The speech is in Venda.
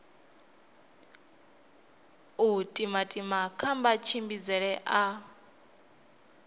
u timatima kha matshimbidzele a